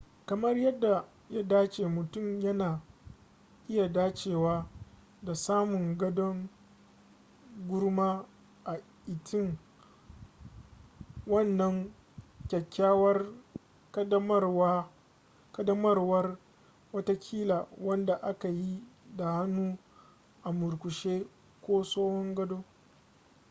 kamar yadda ya dace mutum yana iya dacewa da samun gadon gurma a itin wanan kyakyawar kadamarwar watakila wanda aka yi da hannu a murkushe ko tsohon gado